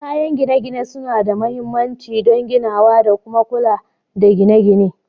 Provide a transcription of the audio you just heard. Kayan gine-gine suna da mahimmanci don ginawa da kuma kula da gine-gine